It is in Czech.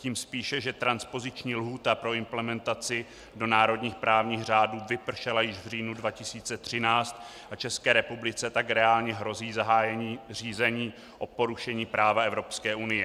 Tím spíše, že transpoziční lhůta pro implementaci do národních právních řádů vypršela již v říjnu 2013 a České republice tak reálně hrozí zahájení řízení o porušení práva Evropské unie.